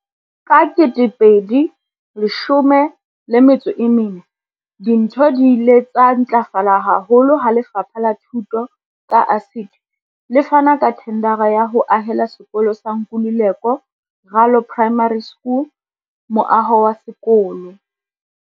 Ka 2014, dintho di ile tsa ntlafala haholo ha Lefapha la Thuto, ka ASIDI, le fana ka thendara ya ho ahela sekolo sa Nkululeko Ralo Primary School moaho wa sekolo.